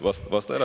Vasta ära.